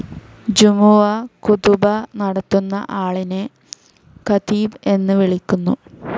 ജുമുഅ ഖുതുബ നടത്തുന്ന ആളിനെ ഖതീബ് എന്ന് വിളിക്കുന്നു.